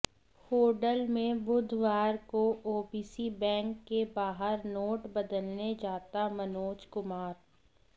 होडल में बुधवार को ओबीसी बैंक के बाहर नोट बदलने जाता मनोज कुमार